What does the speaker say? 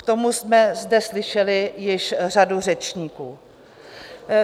K tomu jsme zde slyšeli již řadu řečníků.